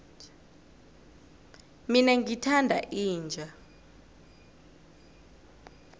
mina ngithanda inja